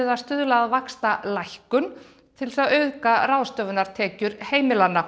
að stuðla að vaxtalækkun til að auka ráðstöfunartekjur heimilanna